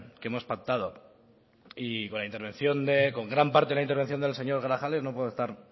que hemos pactado y con gran parte de la intervención del señor grajales no puedo estar